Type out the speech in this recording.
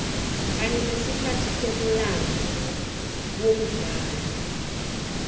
kanye nesikhathi somlando womdlalo